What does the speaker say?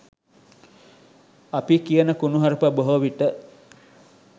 අපි කියන කුණුහරප බොහෝ විට